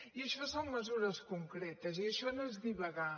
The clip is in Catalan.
i això són mesures concretes i això no és divagar